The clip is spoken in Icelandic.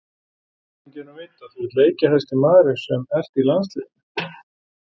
Hvernig er tilfinningin að vita að þú ert leikjahæsti maðurinn sem ert í landsliðinu?